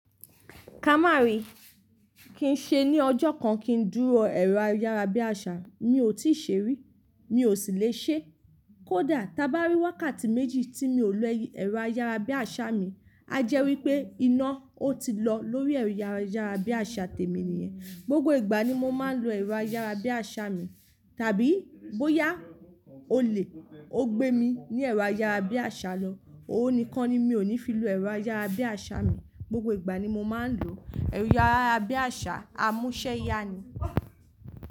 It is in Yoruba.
Ká má rí, kí n ṣe ni ọjọ́ kan kín dúró ẹ̀rọ ayárabíàṣá. Mi ò tíì ṣe rí, mi sì lè ṣe. Kò dá, ta bá rí wákàtí méjì tí mi ò lo ẹ̀rọ ayárabíàṣà mi, a jẹ́ wí pé iná ó ti lọ lórí ẹ̀rọ ayárabíàṣà tèmi nìyẹn. Gbógbó ìgbà ni mo máa ń lo ẹ̀rọ ayárabíàṣà mi. Tàbí bóyá olè ó gbé mi ní ẹ̀rọ ayárabíàṣà lọ, òun nìkan ni mi ò ní fi lo ẹ̀rọ ayárabíàṣà mi. Gbógbó ìgbà ni mo máa ń lo ẹ̀rọ ayárabíàṣà, amúṣẹ́ yá ni.